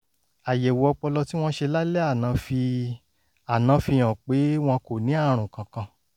àyẹ̀wò ọpọlọ tí wọ́n ṣe lálẹ́ àná fi àná fi hàn pé wọn kò ní àrùn kankan